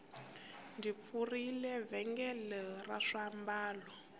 ndzi pfurile vhengele ra swiambalo